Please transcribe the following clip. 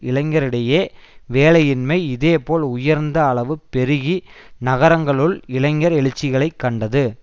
இளைஞரிடையே வேலையின்மை இதேபோல் உயர்ந்த அளவு பெருகி நகரங்களுள் இளைஞர் எழுச்சிகளை கண்டது